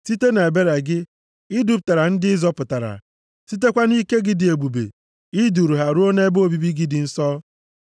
Site nʼebere gị, i dupụtara ndị ị zọpụtara. Sitekwa nʼike gị dị ebube, i duru ha ruo nʼebe obibi gị dị nsọ.